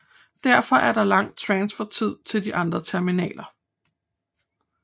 Derfor er der lang transfertid til de andre terminaler